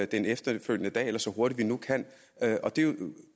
den efterfølgende dag eller så hurtigt vi nu kan det er jo